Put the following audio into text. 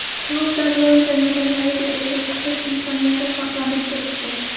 Klubda bronza medallariga ega chiqish imkoniyati saqlanib turibdi.